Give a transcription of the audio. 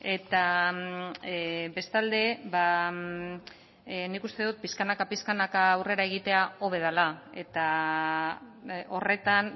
eta bestalde nik uste dut pixkanaka pixkanaka aurrera egitea hobe dela eta horretan